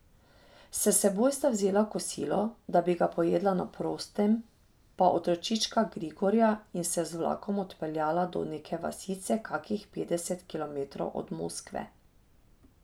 S seboj sta vzela kosilo, da bi ga pojedla na prostem, pa otročička Grigorja in se z vlakom odpeljala do neke vasice kakih petdeset kilometrov od Moskve.